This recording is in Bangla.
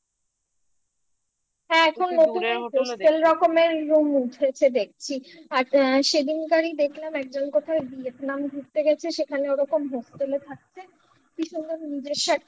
হ্যাঁ এখন নতুন রকমের room উঠেছে দেখছি সেদিনকারই দেখলাম একজন কোথায় Vietnam ঘুরতে গেছে সেখানে ওরকম hostel এ থাকছে কি সুন্দর নিজস্ব একটা